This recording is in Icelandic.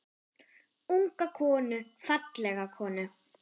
Unga konu, fallega konu.